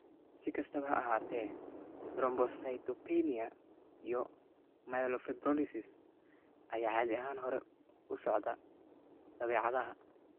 Si kastaba ha ahaatee, thrombocytopenia iyo myelofibrosis ayaa caadi ahaan hore u socda dabeecadda.